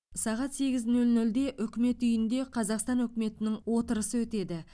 сағат сегіз нөл нөлде үкімет үйінде қазақстан үкіметінің отырысы өтеді